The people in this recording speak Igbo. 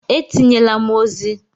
Etinyela m ozi!